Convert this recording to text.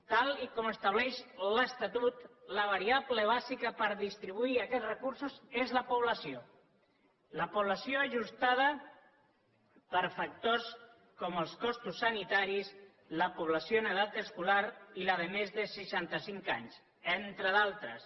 tal com estableix l’estatut la variable bàsica per distribuir aquests recursos és la població la població ajustada per factors com els costos sanitaris la població en edat escolar i la de més de seixanta cinc anys entre d’altres